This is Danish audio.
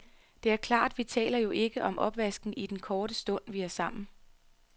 Det er klart, vi taler jo ikke om opvasken i den korte stund, vi er sammen.